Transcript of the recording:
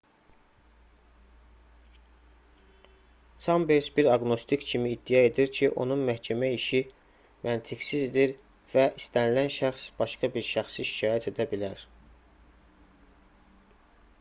çambers bir aqnostik kimi iddia edir ki onun məhkəmə işi məntiqsizdir və istənilən şəxs başqa bir şəxsi şikayət edə bilər